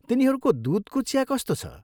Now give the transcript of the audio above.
तिनीहरूको दुधको चिया कस्तो छ?